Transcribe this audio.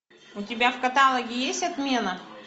у тебя в каталоге есть отмена